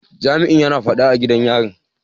Jami'in yana fada a gidan yarin.